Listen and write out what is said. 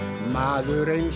maður eins